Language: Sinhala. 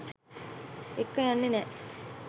එක්ක යන්නේ නෑ.